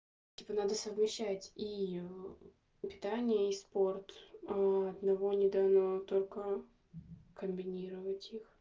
типа надо совмещать и питание и спорт одного недавнего только комбинировать их